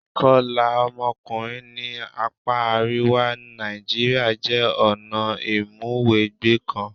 Ìkọlà ọmọkùnrin ní apá àríwá Nàìjíríà jẹ́ ọ̀nà ìmúwẹgbẹ́ kan.